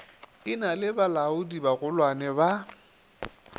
e na le balaodibagolwane ba